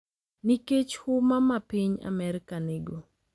Nikech huma ma piny Amerka nigo,